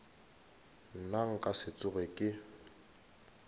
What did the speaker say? nna nka se tsoge ke